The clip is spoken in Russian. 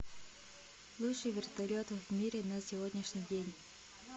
лучший вертолет в мире на сегодняшний день